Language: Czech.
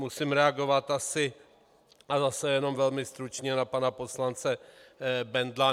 Musím reagovat asi, a zase jenom velmi stručně, na pana poslance Bendla.